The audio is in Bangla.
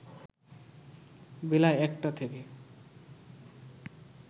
বেলা ১টা থেকে